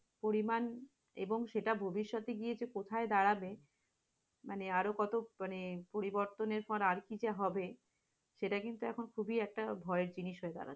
পরিমাণ এবং সেটা ভবিষ্যতে গিয়ে কোথায় দাঁড়াবে? মানে কত মানে পরিবর্তন আরকি যে হবে? সেটা কিন্তু এখন খুবই একটা ভয়ের জিনিস হয়ে দাঁড়াচ্ছে।